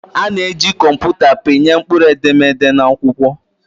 A na-eji kọmputa pịnye mkpụrụedemede na akwụkwọ.